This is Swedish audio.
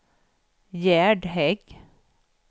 Gerd Hägg